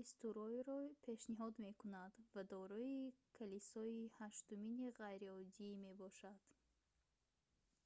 эстуройро пешниҳод мекунад ва дорои калисои ҳаштумини ғайриоддӣ мебошад